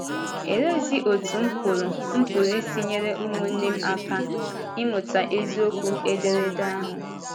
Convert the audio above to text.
Òleezi otú m pụrụ pụrụ isi nyere ụmụnne m aka ịmụta eziokwu ederede ahụ?